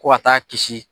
Ko ka taa kisi